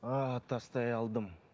ыыы тастай алдым